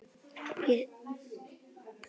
Ég segi þér satt- hann var ekki svo slæmur.